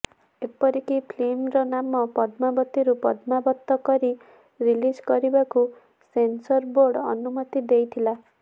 ଏପରିକି ଫିଲ୍ମର ନାମ ପଦ୍ମାବତୀରୁ ପଦ୍ମାବତ କରି ରିଲିଜ କରିବାକୁ ସେନସର ବୋର୍ଡ ଅନୁମତି ଦେଇଥିଲା